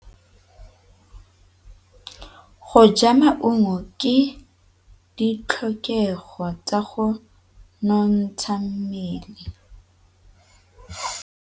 Go ja maungo ke ditlhokegô tsa go nontsha mmele.